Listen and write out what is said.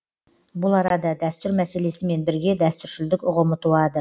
бұл арада дәстүр мәселесімен бірге дәстүршілдік ұғымы туады